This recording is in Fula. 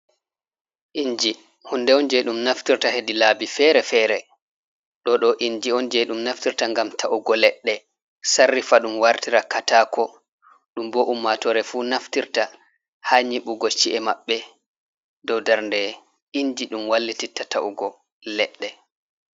"Inji" hunde on je ɗum naftirta heɗi laabi fere fere ɗo ɗo inji on je ɗum naftirta ngam ta’ugo leɗɗe sarrifa ɗum wartira katako ɗum bo ummatore fu naftirta ha nyiɓugo chi'e maɓɓe dow darnde inji ɗum wailititta ta'ugo leɗɗe.